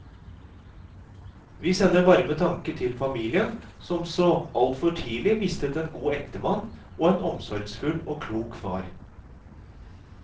Vi sender varme tanker til familien, som så altfor tidlig mistet en god ektemann og en omsorgsfull og klok far.